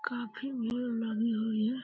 काफी भीड़ लगी हुई है।